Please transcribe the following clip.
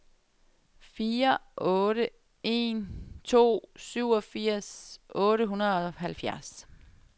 fire otte en to syvogfirs otte hundrede og halvfjerds